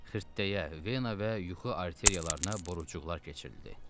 Xırdadeyə vena və yuxu arteriyalarına borucuqlar keçirildi.